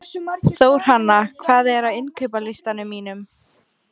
Þórhanna, hvað er á innkaupalistanum mínum?